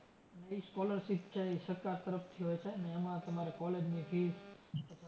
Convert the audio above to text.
ઈ scholarship છે ઈ સરકાર તરફથી હોય છે ને એમાં તમારે college ની fees